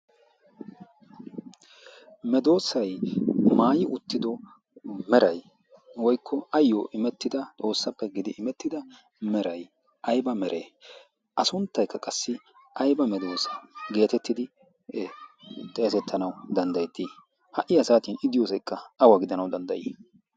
medoosay maayi uttido meray woykko ayyo imettida xoossappe gidi imettida meray ayba meree a sunttaykka qassi ayba medoosa' geetettidi xeesettanawu danddayettii ha'i asaatin idiyoosaykka awa gidanawu danddayii?